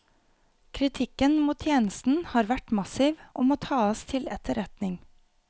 Kritikken mot tjenesten har vært massiv og må tas til etterretning.